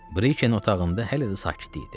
Briken otağında hələ də sakitlik idi.